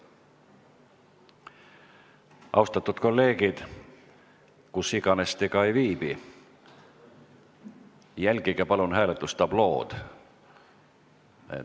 Austatud kolleegid, kus iganes te ka ei viibi, jälgige palun hääletustablood!